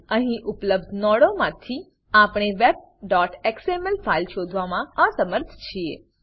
અહીં ઉપલબ્ધ નોડોમાંથી આપણે webએક્સએમએલ ફાઈલ શોધવામાં અસમર્થ છીએ